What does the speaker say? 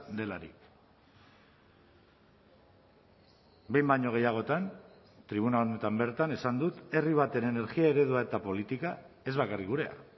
delarik behin baino gehiagotan tribuna honetan bertan esan dut herri baten energia eredua eta politika ez bakarrik gurea